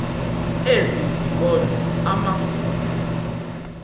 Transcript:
ezi zikolo amagumbi